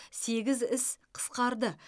сегіз іс қысқарды